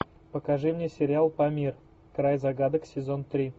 покажи мне сериал помир край загадок сезон три